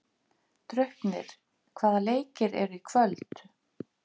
Draupnir, hvaða leikir eru í kvöld?